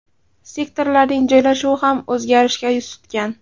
Sektorlarning joylashuvi ham o‘zgarishga yuz tutgan.